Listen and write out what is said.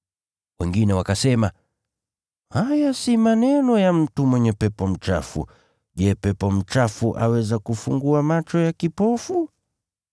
Wengine wakasema, “Haya si maneno ya mtu aliyepagawa na pepo mchafu. Je, pepo mchafu aweza kufungua macho ya kipofu?”